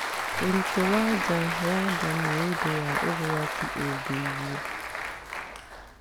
Ũritũ wa nja ya nda nĩ ũndũ wa ũgwati ũgĩgũa.